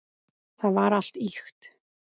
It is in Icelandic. Það var allt ýkt.